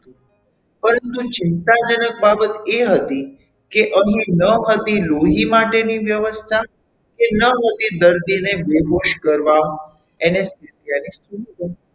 પરંતુ ચિંતાજનક બાબત એ હતી કે અહીં ન હતી લોહી માટેની વ્યવસ્થા કે ન હતી દર્દીને બેહોશ કરવા Anesthesia